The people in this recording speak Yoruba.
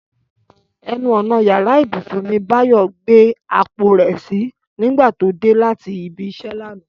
Ẹnu ọ̀nà yàrá ìbùsùn ni Báyọ̀ gbé àpò rẹ̀ sí nígbà tó dé láti ibi iṣẹ́ lánàá